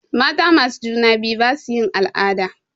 Mata masu juna biyu basu yin al'ada.